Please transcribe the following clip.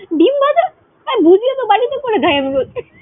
ডিম ভাজা, আরে ভুজিয়া তো বাড়িতে করে খাই আমি রোজ।